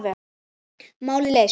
Málið leyst.